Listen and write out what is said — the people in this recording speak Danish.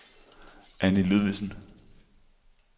Anni Ludvigsen